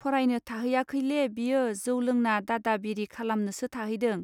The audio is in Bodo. फरायनो थाहैयाखैले बियो जौ लोंना दादाबिरि खालामनोसो थाहैदों.